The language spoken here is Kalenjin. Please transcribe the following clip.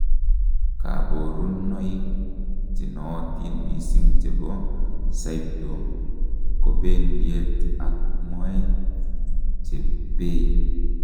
kaborunoik chenootin missing chebo crypto kobendiet ab moet chebei